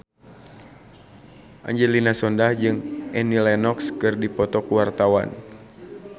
Angelina Sondakh jeung Annie Lenox keur dipoto ku wartawan